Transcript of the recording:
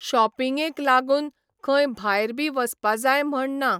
शॉपींगगे लागून खंय भायर बी वसपा जाय म्हण ना.